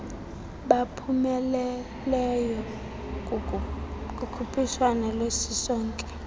baphumeleleyo kukhuphiswano lwesisonke